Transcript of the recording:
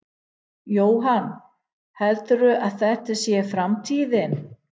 Jóhann: Heldurðu að þetta sé framtíðin?